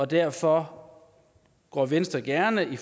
derfor går venstre gerne ind i